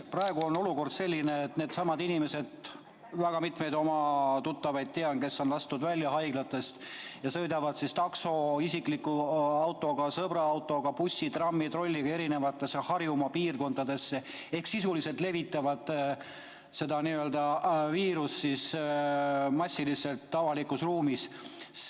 Praegu on olukord selline, et need inimesed , kes on haiglast välja lastud, sõidavad siis takso, isikliku auto või sõbra autoga või bussi, trammi, trolliga eri piirkondadesse ehk sisuliselt levitavad seda n‑ö viirust massiliselt avalikus ruumis.